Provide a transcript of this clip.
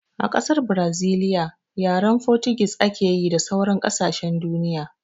A ƙasar braziliya yaren fotugis ake yi da sauran kasashen duniya